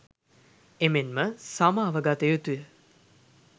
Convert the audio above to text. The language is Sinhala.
එමෙන්ම සමාව ගත යුතුය.